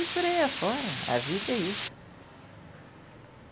E por aí afora, a vida é isso.